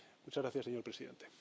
Muchas gracias señor Presidente.